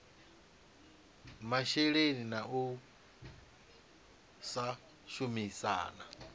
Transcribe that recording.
masheleni na u sa shumisana